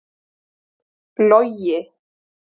Logi